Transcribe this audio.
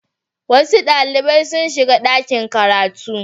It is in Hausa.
Wasu ɗalibai sun shiga ɗakin karatu.